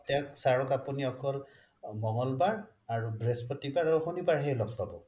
তেওঁক sir ক আপুনি অকল মঙ্গলবাৰ আৰু বৃহস্পতিবাৰ আৰু শনিবাৰ হে লগ পাব